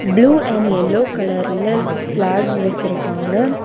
Blue and yellow கலர்ல flags வெச்சிருக்காங்க.